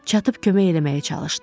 Çatıb kömək eləməyə çalışdı.